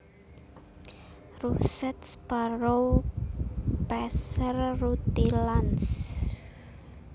Russet Sparrow Passer rutilans